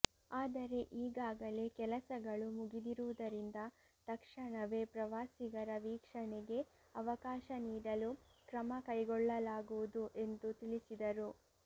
ಆದರೆ ಈಗಾಗಲೇ ಕೆಲಸಗಳು ಮುಗಿದಿರುವುದರಿಂದ ತಕ್ಷಣವೇ ಪ್ರವಾಸಿಗರ ವೀಕ್ಷಣೆಗೆ ಅವಕಾಶ ನೀಡಲು ಕ್ರಮಕೈಗೊಳ್ಳಲಾಗುವುದು ಎಂದು ತಿಳಿಸಿದರು